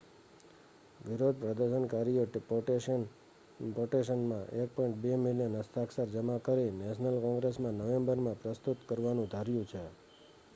વિરોધ પ્રદર્શનકારીયોએ પેટિશનમાં1.2 મિલિયન હસ્તાક્ષર જમા કરી નેશનલ કોંગ્રેસમાં નવેમ્બરમાં પ્રસ્તુત કરવાનુ ધાર્યુ છે